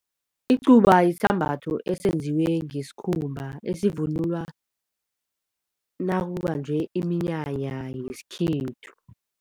Icuba yisambatho esenziwe ngesikhumba esivunulwa nakubanjwe iminyanya yesikhethu.